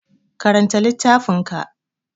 Karanta littafin ka!